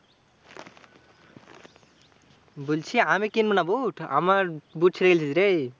বলছি আমি কিনব না বুট? আমার বুট ছিঁড়ে গেছে রে।